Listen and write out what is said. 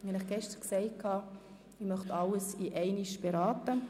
Wie ich Ihnen bereits gestern gesagt habe, möchte ich alles gemeinsam beraten.